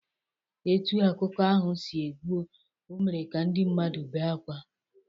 Etu akụkọ ahụ si gwụ, o mere ka ndị mmadụ bee akwa